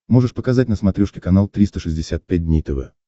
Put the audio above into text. можешь показать на смотрешке канал триста шестьдесят пять дней тв